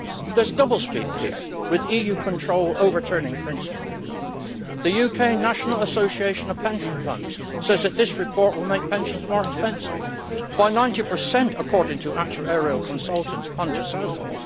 There is double speak here, with EU control overturning principle. The UK National Association of Pension Funds says that this report will make pensions more expensive by 90 according to actuarial consultants Punter Southall.